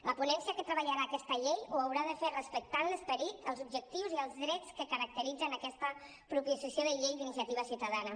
la ponència que treballarà aquesta llei ho haurà de fer respectant l’esperit els objectius i els drets que caracteritzen aquesta proposició de llei d’iniciativa ciutadana